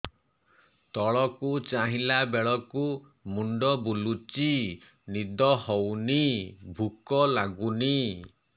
ତଳକୁ ଚାହିଁଲା ବେଳକୁ ମୁଣ୍ଡ ବୁଲୁଚି ନିଦ ହଉନି ଭୁକ ଲାଗୁନି